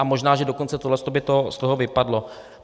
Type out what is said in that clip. A možná dokonce, že tohle by z toho vypadlo.